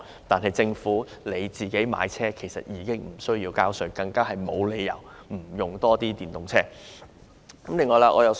由於政府買車無需繳稅，因而更沒有理由不多使用電動車。